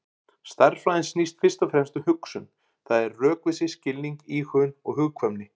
Stærðfræðin snýst fyrst og fremst um hugsun, það er rökvísi, skilning, íhugun og hugkvæmni.